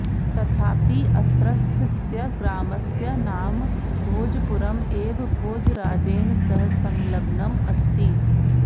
तथापि अत्रस्थस्य ग्रामस्य नाम भोजपुरम् एव भोजराजेन सह सँल्लग्नम् अस्ति